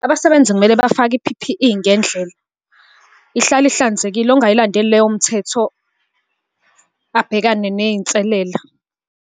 Abasebenzi kumele bafake i-P_P_E ngendlela. Ihlale ihlanzekile, ongayilandeli leyo mthetho abhekane ney'nselela.